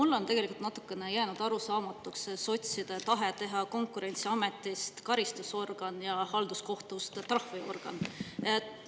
Mulle on jäänud tegelikult natukene arusaamatuks sotside tahe teha Konkurentsiametist karistusorgan ja halduskohtust trahviorgan.